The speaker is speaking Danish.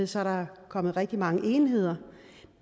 så er der kommet rigtig mange enheder